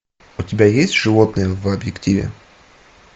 у тебя есть животные в объективе